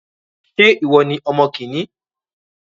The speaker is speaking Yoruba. Ṣé ìwọ ní ọmọ kìíní?